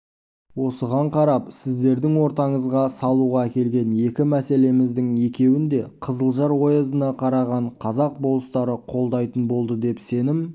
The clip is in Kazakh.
осыған қарап сіздердің ортаңызға салуға әкелген екі мәселеміздің екеуін де қызылжар оязына қараған қазақ болыстары қолдайтын болды деп сенім